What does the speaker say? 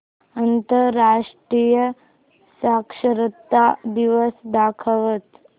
आंतरराष्ट्रीय साक्षरता दिवस दाखवच